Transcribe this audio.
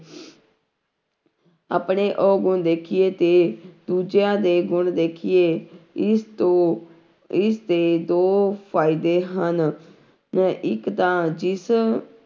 ਆਪਣੇ ਔਗੁਣ ਦੇਖੀਏ ਤੇ ਦੂਜਿਆਂ ਦੇ ਗੁਣ ਦੇਖੀਏ, ਇਸ ਤੋਂ, ਇਸਦੇ ਦੋ ਫ਼ਾਇਦੇ ਹਨ ਨ ਇੱਕ ਤਾਂ ਜਿਸ